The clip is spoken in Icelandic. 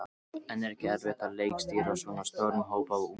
En er ekki erfitt að leikstýra svona stórum hópi af unglingum?